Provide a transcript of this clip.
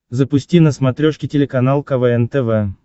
запусти на смотрешке телеканал квн тв